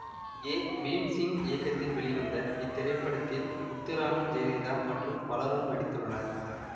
ஏ பீம்சிங் இயக்கத்தில் வெளிவந்த இத்திரைப்படத்தில் முத்துராமன் ஜெயலலிதா மற்றும் பலரும் நடித்துள்ளனர்